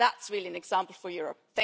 That is really an example for Europe.